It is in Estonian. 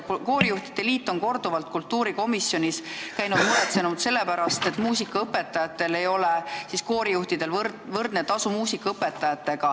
Koorijuhtide liit on korduvalt kultuurikomisjonis käinud, et avaldada muret selle pärast, et koorijuhtidel ei ole muusikaõpetajatega võrdne tasu.